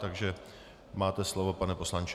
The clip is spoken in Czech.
Takže máte slovo, pane poslanče.